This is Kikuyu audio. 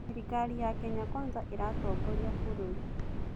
Thirikari ya Kenya Kwanza ĩratongoria bũrũri.